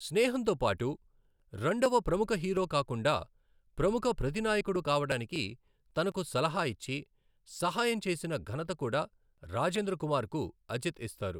స్నేహంతో పాటు, రెండవ ప్రముఖ హీరో కాకుండా ప్రముఖ ప్రతినాయకుడు కావడానికి తనకు సలహా ఇచ్చి, సహాయం చేసిన ఘనత కూడా రాజేంద్ర కుమార్కు అజిత్ ఇస్తారు .